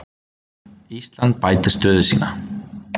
Ísland bætir stöðu sína